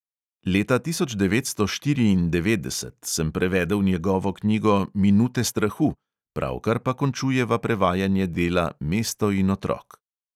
Leta tisoč devetsto štiriindevetdeset sem prevedel njegovo knjigo minute strahu, pravkar pa končujeva prevajanje dela mesto in otrok.